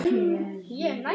Því urðu þessar limrur til.